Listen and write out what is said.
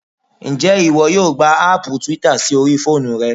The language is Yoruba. Ǹjẹ́ ìwọ yóò gba aàpù twitter sí orí fóònù rẹ?